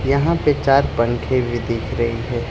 यहां पे चार पंखे भी दिख रहे हैं।